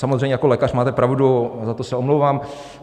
Samozřejmě, jako lékař máte pravdu, za to se omlouvám.